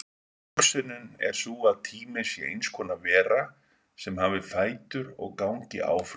Hugsunin er sú að tíminn sé eins konar vera sem hafi fætur og gangi áfram.